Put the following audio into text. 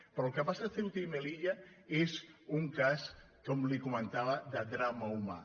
però el que passa a ceuta i melilla és un cas com li comen·tava de drama humà